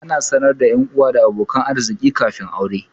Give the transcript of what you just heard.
Ana sanar da 'yanuwa da abokan arziƙi kafin aure.